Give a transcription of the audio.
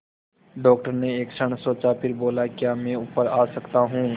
doctor ने एक क्षण सोचा फिर बोले क्या मैं ऊपर आ सकता हूँ